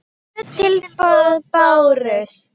Tvö tilboð bárust.